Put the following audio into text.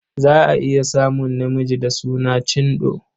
Za a iya samun namiji da suna Chindo.